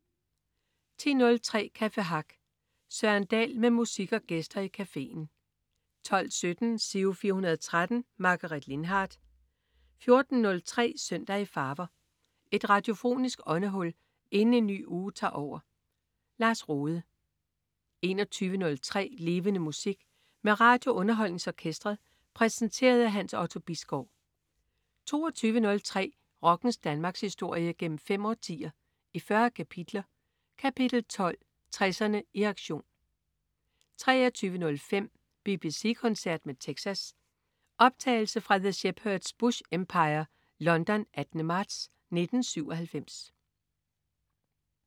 10.03 Café Hack. Søren Dahl med musik og gæster i cafeen 12.17 Giro 413. Margaret Lindhardt 14.03 Søndag i farver. Et radiofonisk åndehul inden en ny uge tager over. Lars Rohde 21.03 Levende Musik. Med RadioUnderholdningsOrkestret. Præsenteret af Hans Otto Bisgaard 22.03 Rockens Danmarkshistorie, gennem fem årtier, i 40 kapitler. Kapitel 12: 60'erne i aktion 23.05 BBC koncert med Texas. Optagelse fra The Shepherd's Bush Empire, London, 18. marts 1997